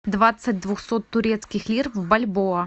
двадцать двухсот турецких лир в бальбоа